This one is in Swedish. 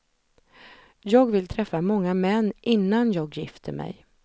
Jag vill träffa många män innan jag gifter mig.